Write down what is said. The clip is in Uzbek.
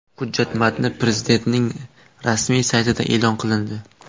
Hujjat matni Prezidentning rasmiy saytida e’lon qilindi .